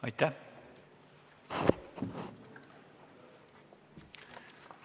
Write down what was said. Aitäh!